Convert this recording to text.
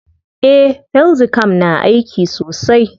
Eh, felxicam na aiki sosai.